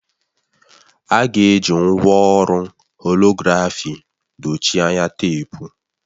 A ga-eji ngwa ọrụ holografi dochie anya teepu